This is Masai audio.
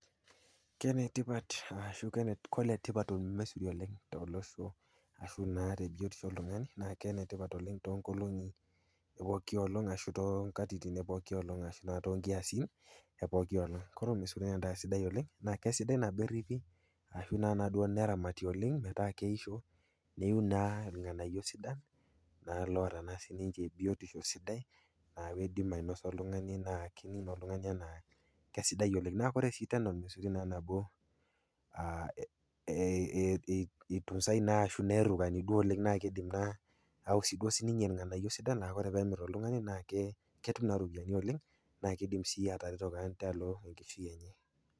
Kenetipat ashu oletipat olmesuri oleng tolosho ashu naa te biotisho oltung'ani, kenetipat oleng to nkolong'i epoki olong ashu to nkatitin epooki olong ashu too nkiasin epooki olong. Ore olmesuri naa endaa sidai oleng naa sidai teneripi ashu naa duo neramati oleng metaa keisho neiu naa ilng'anayo sidan naa loata naa sininche biotisho sidai aaku eidim ainosa oltung'ani naa kening naa oltung'ani aa kesidai oleng. Ore sii tena olmesuri nabo eitunsai naa ashu nerukani duo oleng naa keidim naa ayau sii duo sininye ilng'anayo sidan naa ore pee emir oltung'ani naa ketum naa iropiani oleng naa keidim sii atareto kewan tialo enkishui enye.